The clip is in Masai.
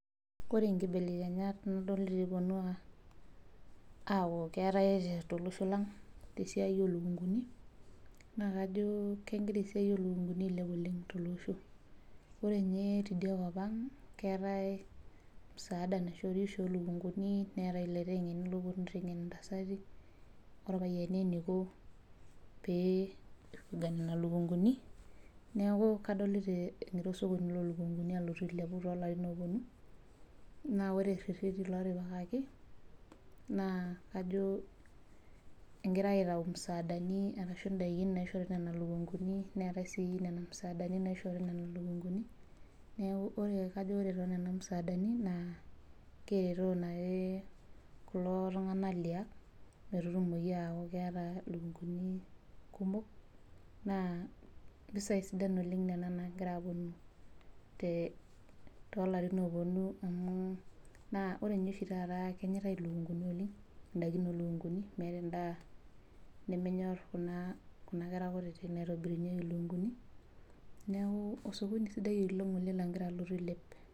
Ore nkibelekenyata nayetuo akuu keetae tolosho lang tee sidai oo lukunguni naa kajo kegira esiai oo lukunguni ailep tolosho ore ninye tidia kop ang naa keetae msaada oshi naishootii oo lukunguni neetae eloitengeni oo puonu aiteng'en irpayiani oo ntasati enikoo pee eramat Nena lukunguni neeku kadolita egira osokoni loo lukunguni ailepu latin apuonu naa ore reteni loo tipikaki naa kajo egirai aitayu msaadani naishori Nena lukunguni Neetae sii Nena msaadani naishori Nena lukunguni neeku kajo ore too Nena msaadani naa keretito naajii lelo tung'ana Liang metutumoki akuu keeta elukunguni kumok naa mpisai kumok Nena nagira apuonu too larin loo puonu naa ore oshi taata kenyaitai elukunguni oleng ndaiki oo lukunguni meeta ndaa nemenyor Kuna kera kutiti naitobirunyieki elukunguni neeku osokoni sidai oleng ele logira alotu ailep